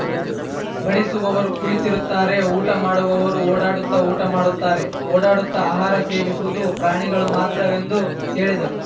ಬಡಿಸುವವರು ಕುಳಿತಿರುತ್ತಾರೆ ಊಟ ಮಾಡುವವರು ಓಡಾಡುತ್ತ ಊಟ ಮಾಡುತ್ತಾರೆ ಓಡಾಡುತ್ತ ಆಹಾರ ಸೇವಿಸುವುದು ಪ್ರಾಣಿಗಳು ಮಾತ್ರ ಎಂದು ಹೇಳಿದರು